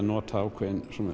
nota ákveðna